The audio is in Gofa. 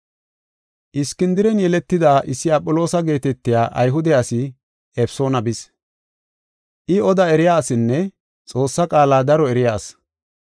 Iskindiren yeletida issi Aphiloosa geetetiya Ayhude asi Efesoona bis. I oda eriya asinne Xoossaa qaala daro eriya asi.